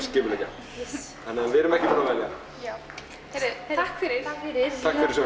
skipuleggja þannig að við erum ekki búin að velja takk fyrir fyrir